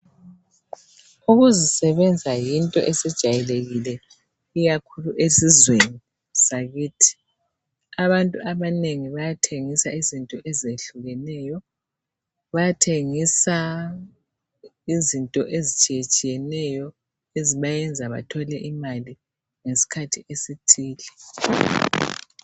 Ukuzisebenza yinto esijayelekile ikakhulu esizweni sakithi. Abantu abanengi bayathengisa izinto ezehlukeneyo. Bayathengisa izinto ezitshiyetshiyeneyo ezibenza bathole imali ngesikhathi esithile.